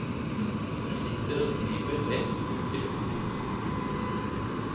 Du sitter og skriver rett ut i luften.